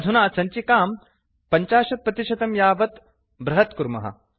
अधुना सञ्चिकां 50 प्रतिशतं यावत् बृहत् कुर्मः